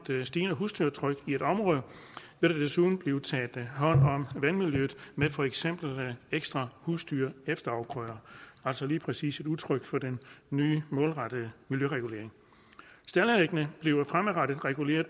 stigende husdyrtryk i et område vil der desuden blive taget hånd om vandmiljøet med for eksempel ekstra husdyrefterafgrøder altså lige præcis et udtryk for den nye målrettede miljøregulering staldanlæggene bliver fremadrettet reguleret